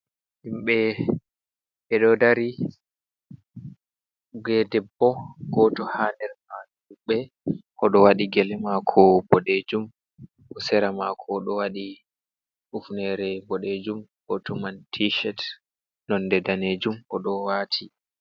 Himɓe ɓeɗo dari ge debbo goto ha nder man ɗuɓɓe oɗo wati gele mako boɗejum, o sera mako oɗo waɗi ufnere boɗejum gotoman tishet nonde danejum oɗo wati.